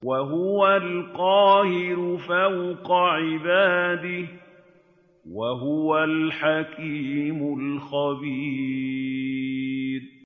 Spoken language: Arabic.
وَهُوَ الْقَاهِرُ فَوْقَ عِبَادِهِ ۚ وَهُوَ الْحَكِيمُ الْخَبِيرُ